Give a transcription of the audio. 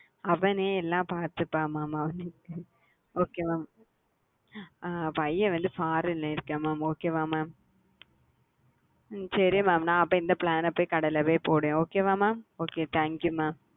அவனே எல்லாம் பத்துப்ப அவனுக்கு okay mam உங்க பையன் என்ன பன்றாக பையன் வந்து farin இருக்க mam சரி சரி ந வந்து இந்த flan கடியில வந்து போடுற okay mam